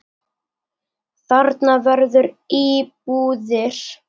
Þarna verði íbúðir.